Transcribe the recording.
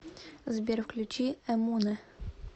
сбер включи эмунэ